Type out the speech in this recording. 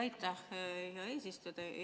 Aitäh, hea eesistuja!